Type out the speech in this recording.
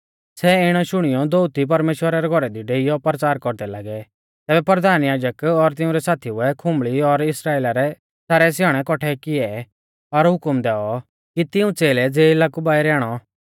सै इणै शुणियौ दोअती परमेश्‍वरा रै घौरा दी डेइयौ परचार कौरदै लागै तैबै परधान याजक और तिंउरै साथीऊ ऐ खुंबल़ी और इस्राइला रै सारै स्याणै कौट्ठै किऐ और हुकम दैऔ कि तिऊं च़ेलै ज़ेला कु बाइरै आणौ